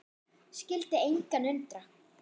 Skyldi engan undra.